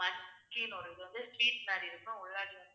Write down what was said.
muskin ஒரு இது வந்து cheese மாதிரி இருக்கும். உள்ளார வந்து